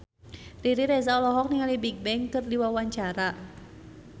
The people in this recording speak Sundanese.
Riri Reza olohok ningali Bigbang keur diwawancara